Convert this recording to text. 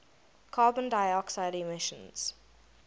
carbon dioxide emissions